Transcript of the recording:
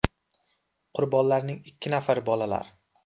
Qurbonlarning ikki nafari bolalar.